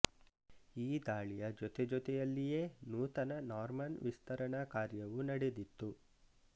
ಈ ದಾಳಿಯ ಜೊತೆಜೊತೆಯಲ್ಲಿಯೇ ನೂತನ ನಾರ್ಮನ್ ವಿಸ್ತರಣಾ ಕಾರ್ಯವೂ ನಡೆದಿತ್ತು